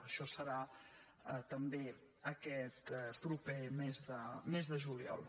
això serà també aquest proper mes de juliol